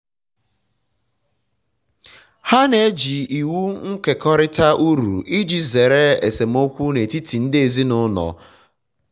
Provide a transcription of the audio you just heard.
ha na-eji iwu nkekọrịta uru iji zere esemokwu n'etiti um ndi ezinụlọ um ndi ezinụlọ